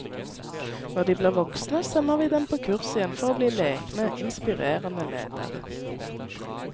Når de blir voksne, sender vi dem på kurs igjen for å bli lekne, inspirerende ledere.